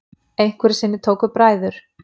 Einhverju sinni tóku bræður